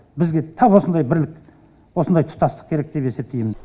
бізге тап осындай бірлік осындай тұтастық керек деп есептеймін